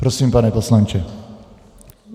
Prosím, pane poslanče.